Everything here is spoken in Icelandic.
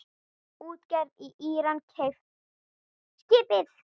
Útgerð í Íran keypti skipið.